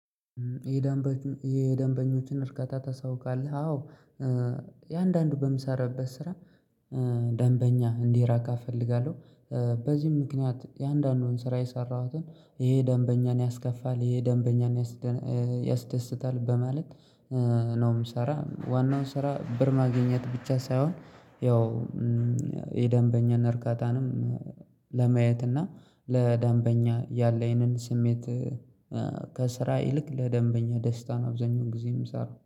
የደንበኞችን እርካታ ታሳውቃለህ አዎ። የአንዳንዱ በምሰራበት ስራ ደንበኛ እንዲራካ እፈልጋለሁ። በዚህም ምክንያት የአንዳንዱን ስራ የሰራሁትን ይሄ ደንበኛን ያስከፋል ይሄ ደንበኛን ያስደስታል በማለት ነው። የምሰራ ዋናው ስራ ብር ማግኘት ብቻ ሳይሆን ያው የደንበኛና እርካታንም ለማየት እና ለደንበኛ ያለኝን ስሜት ከስራ ይልቅ ለደንበኛ ደስታን አብዛኛውን ጊዜ የምሰራው